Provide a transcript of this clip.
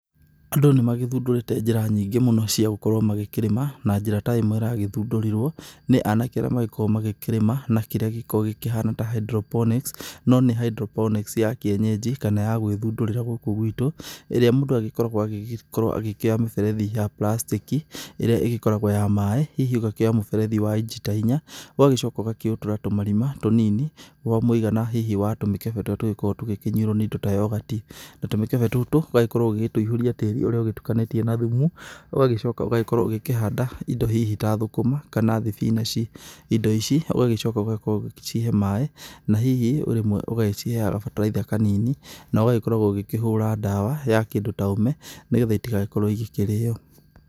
Andũ nĩmagĩthundũrĩte njĩra nyingĩ mũno cia gũkorwo magĩkĩrĩma na njĩra ta ĩmwe ĩragĩthundũrirwo, nĩ anake ũrĩa marĩkoragwo magĩkĩrĩma na kĩrĩa gĩkoragwo gĩkĩhana ta hydroponics, no nĩ hydroponics ya kienyeji kana ya gwĩthundũrĩra gũkũ gwitũ ĩrĩa mũndũ agĩkoragwo agĩgĩkorwo akĩoya mĩberethi ya prastiki ĩrĩa ĩgĩkoragwo ya maĩ, hihi ũgakĩoya mũberethi wa inji ta inya, ũgagĩcoka ũkawĩtũratũra tũmarima tũnini wa mũigana hihi wa tũmĩkebe tũrĩa tũngĩkorwo tũgĩnyuĩrwo nĩ indo ya yorgati, tũmĩkebe tũtũ ũgakorwo ũgĩtũiyũria tĩri ũrĩa ũgĩtukanĩtie na thumu ũgagĩcoka ũgagĩkorwo ũgĩkĩhanda indo hihi ta thũkũma kana thibinaci, indi ici ũgacoka ũgakorwo ũgĩgĩcihe maĩ na hihi rĩmwe ũgaciheaga kabataraitha kanini, na ũgagĩkorwo ũgĩkĩhũra ndawa ya kĩndũ ta ũme nĩgetha itigagĩkorwo ikĩrĩo.